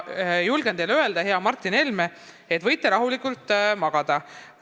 Julgen teile öelda, hea Martin Helme, võite rahulikult magada.